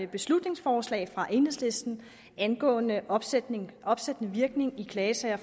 her beslutningsforslag fra enhedslisten angående opsættende opsættende virkning i klagesager